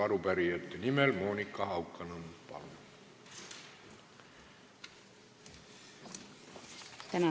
Arupärijate nimel Monika Haukanõmm, palun!